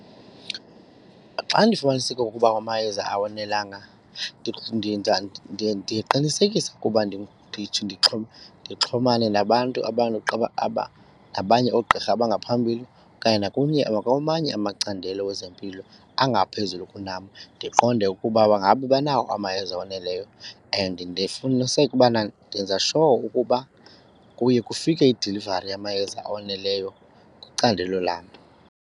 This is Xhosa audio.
Xa ndifumaniseke ukuba amayeza awonelanga ndiye ndiqinisekise ukuba ndithi ndixhumane nabantu nabanye oogqirha abangaphambili okanye nakwamanye amacandelo wezempilo angaphezulu kunam ndiqonde ukuba ngaba banawo amayeza oneleyo. And ndifumaniseke ubana ndenza sure ukuba kuye kufike idilivari yamayeza oneleyo kwicandelo lam.